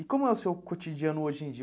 E como é o seu cotidiano hoje em dia?